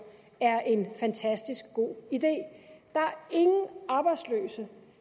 er en fantastisk god idé der er ingen arbejdsløse